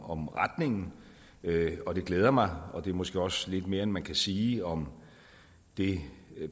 om retningen det glæder mig og det er måske også lidt mere end man kan sige om det